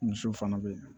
Misiw fana bɛ yen